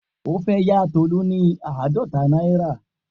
O fe ya Tolu ni aadọta naira.